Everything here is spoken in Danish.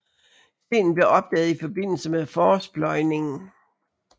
Stenen blev opdaget i forbindelse med forårspløjningen